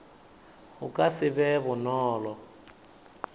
go ka se be bonolo